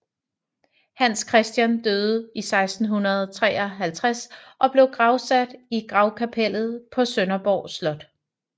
Hans Christian døde i 1653 og blev gravsat i gravkapellet på Sønderborg Slot